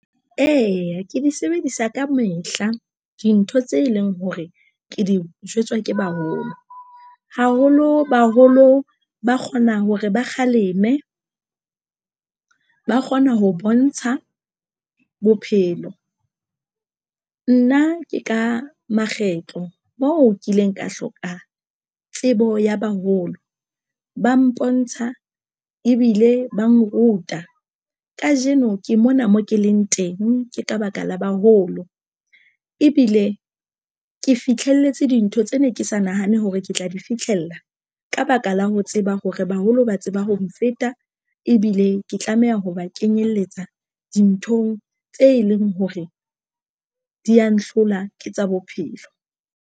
Eya, ke di sebedisa ka mehla dintho tse leng hore ke di jwetswa ke baholo, haholo baholo ba kgona hore ba kgaleme, ba kgona ho bontsha bophelo. Nna ke ka makgetlo mo kileng ka hloka tsebo ya baholo. Ba mpontsha ebile ba nruta. Kajeno ke mona mo ke leng teng ke ka baka la baholo ebile ke fihlelletse dintho tse ne ke sa nahane hore ke tla di fitlhella ka baka la ho tseba hore baholo ba tseba ho nfeta ebile ke tlameha ho ba kenyelletsa dinthong tse leng hore di ya nhlola ke tsa bophelo.